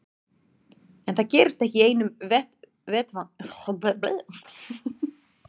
En það gerist ekki í einu vetfangi heldur hlýtur það að taka einhvern tíma.